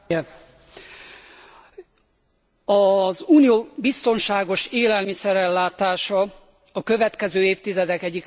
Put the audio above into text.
Az Unió biztonságos élelmiszer ellátása a következő évtizedek egyik legnagyobb biztonságpolitikai kihívása lesz.